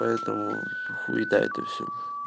поэтому хуита это все